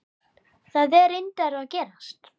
Það er reyndar að gerast.